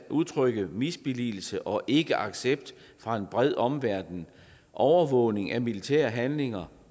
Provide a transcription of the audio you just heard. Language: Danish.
udtrykke misbilligelse og ikkeaccept fra en bred omverden overvågning af militære handlinger